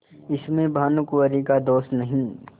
इसमें भानुकुँवरि का दोष नहीं